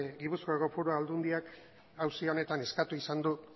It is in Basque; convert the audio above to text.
gipuzkoako foru aldundiak auzi honetan eskatu izan du